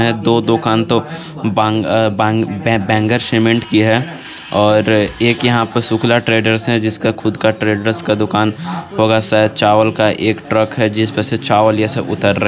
दो दुकान तो बांग-बांग-बे-बे- बेंगर सीमेंट की है और एक यहां पर शुक्ला ट्रेडर्स है जिसका खुद का ट्रेडर्स का दुकान होगा शायद चावल का एक ट्रक है जिसमें से चावल यह सब उत्तर--